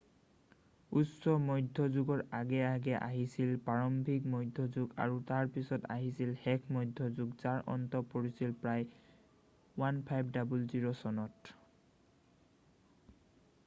উচ্চ মধ্যযুগৰ আগে আগে আহিছিল প্ৰাৰম্ভিক মধ্যযুগ আৰু তাৰ পিছত আহিছিল শেষ মধ্যযুগ যাৰ অন্ত পৰিছিল প্ৰায় 1500 চনত